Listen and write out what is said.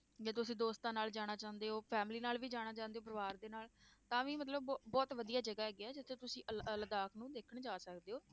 ਜੇ ਤੁਸੀਂ ਦੋਸਤਾਂ ਨਾਲ ਜਾਣਾ ਚਾਹੁੰਦੇ ਹੋ family ਨਾਲ ਵੀ ਜਾਣਾ ਚਾਹੁੰਦੇ ਹੋ ਪਰਿਵਾਰ ਦੇ ਨਾਲ, ਤਾਂ ਵੀ ਮਤਲਬ ਬਹੁਤ ਵਧੀਆ ਜਗ੍ਹਾ ਹੈਗੀ ਹੈ, ਜਿੱਥੇ ਤੁਸੀਂ ਲ~ ਲਦਾਖ ਨੂੰ ਦੇਖਣ ਜਾ ਸਕਦੇ ਹੋ।